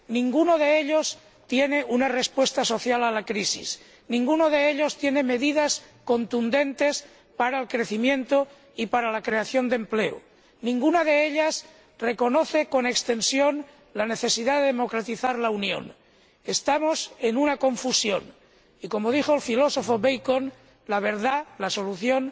Ninguno de ellos ofrece una respuesta social a la crisis, ninguno de ellos ofrece medidas contundentes para el crecimiento y para la creación de empleo, ninguno de ellos reconoce con extensión la necesidad de democratizar la Unión. Estamos inmersos en una confusión y, como dijo el filósofo Bacon, la verdad, la solución,